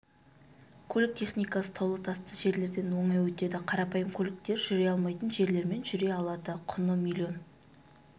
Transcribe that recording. көлік техникасы таулы-тасты жерлерден оңай өтеді қарапайым көліктер жүре алмайтын жерлермен жүре алады құны миллион